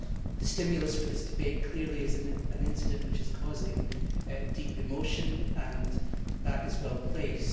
The stimulus for this debate is clearly an incident which is causing deep emotion, and that is well placed.